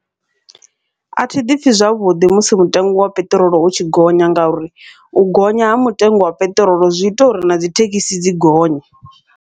Athi ḓipfhi zwavhuḓi musi mutengo wa peṱirolo u tshi gonya, ngauri u gonya ha mitengo ya peṱirolo zwi ita uri na dzithekhisi dzi gonye.